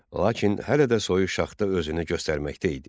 Lakin hələ də soyuq şaxta özünü göstərməkdə idi.